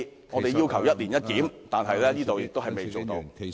我們要求"一年一檢"，但政府卻仍未落實......